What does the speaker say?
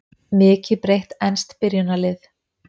Mikið breytt enskt byrjunarlið